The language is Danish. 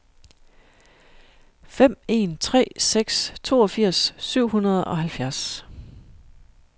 fem en tre seks toogfirs syv hundrede og halvfjerds